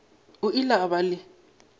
o ile a ba le